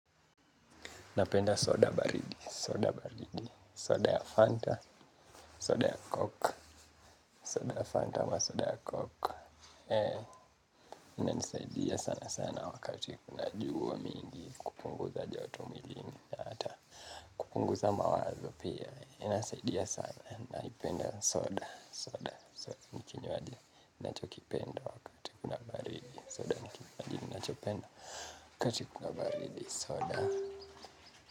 Napenda soda baridi, soda baridi, soda ya Fanta, soda ya Coke, soda ya Fanta ama soda ya Coke. Eee, ina nisaidia sana sana wakati kuna jua mingi, kupunguza joto mwilini, na hata kupunguza mawazo pia. Ina nisaidia sana, naipenda soda, soda, soda nikinywaji nanachokipenda wakati kuna baridi, soda nikinywajia, nachopenda wakati kuna baridi, soda nikinywaji, nachopenda wakati kuna baridi, soda.